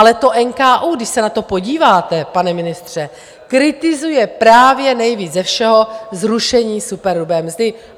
Ale to NKÚ, když se na to podíváte, pane ministře, kritizuje právě nejvíc ze všeho zrušení superhrubé mzdy.